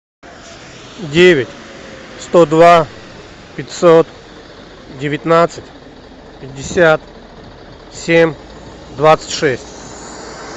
девять сто два пятьсот девятнадцать пятьдесят семь двадцать шесть